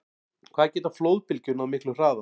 Hvað geta flóðbylgjur náð miklum hraða?